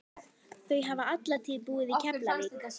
Þau hafa alla tíð búið í Keflavík.